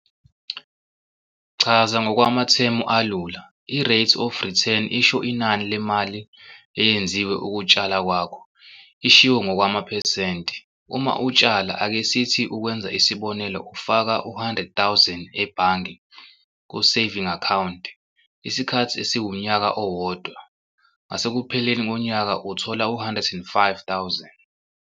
Chaza ngokwamathemu alula, i-rate of return isho inani lemali eyenziwe ukutshala kwakho ishiwo ngokwamaphesenti - uma utshala, ake sithi ukwenza isibonelo ufaka u-R100 000 ebhange ku-saving account isikhathi esiwunyaka owodwa, ngasekupheleni konyaka uthola u-R105 000.